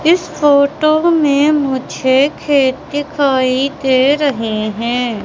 इस फोटो मैं मुझे खेत दिखाई दे रहे हैं।